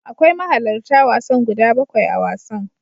Akwai mahalarta wasan guda bakwai a wasan.